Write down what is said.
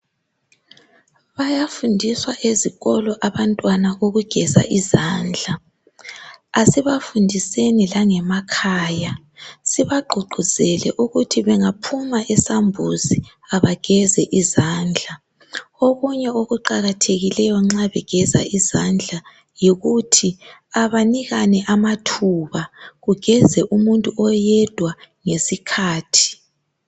Bayafundiswa ezikolo abantwana ukugeza izandla. Asibafundiseni langemakhaya. Sibagqugquzele ukuthi bengaphuma esambuzi abageze izandla. Okunye okuqakathekileyo nxa begeza izandla yikuthi abanikane amathuba. Kugeze umuntu oyedwa ngesikhathi.